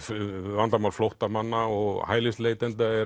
vandamál flóttamanna og hælisleitenda eru